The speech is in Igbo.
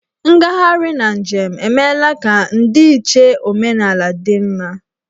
Ngagharị na njem emeela ka ndịiche omenala dị mma.